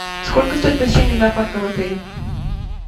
сколько стоит посещение зоопарка в отеле